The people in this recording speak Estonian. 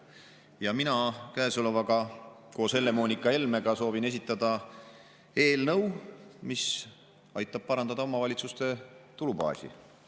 Ja mina koos Helle-Moonika Helmega soovin esitada eelnõu, mis aitab parandada omavalitsuste tulubaasi.